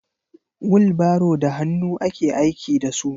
wilbaro da hannu ake aiki da su.